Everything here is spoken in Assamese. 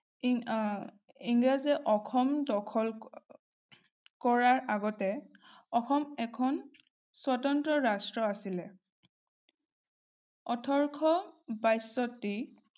ইংৰাজে অসম দখল কৰাৰ আগতে অসম এখন স্বতন্ত্ৰ ৰাষ্ট্ৰ আছিলে। ওঠৰশ-বাশষ্ঠি